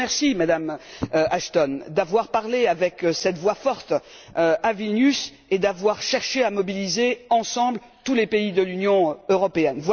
Je vous remercie, Madame Ashton, d'avoir parlé d'une voix forte, à Vilnius, et d'avoir cherché à mobiliser, ensemble, tous les pays de l'Union européenne.